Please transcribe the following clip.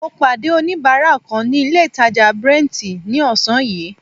Mo pàdé oníbárà kan ní ilé ìtàjà Brent ní ọ̀sán yìí.